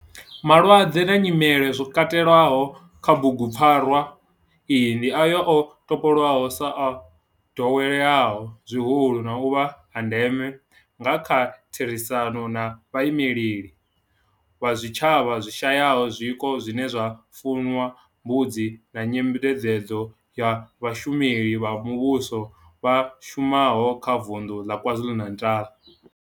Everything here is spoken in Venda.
Malwadze na nyimele zwo katelwaho kha bugu pfarwa iyi ndi ayo o topolwaho sa o doweleaho zwihulu na u vha a ndeme nga kha therisano na vhaimeleli vha zwitshavha zwi shayaho zwiko zwine zwa fuwa mbudzi na nyengedzedzo ya vhashumeli vha muvhusho vha shumaho kha Vundu la KwaZulu-Natal.